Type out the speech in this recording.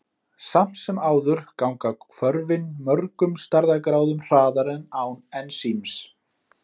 Samt sem áður ganga hvörfin mörgum stærðargráðum hraðar en án ensíms.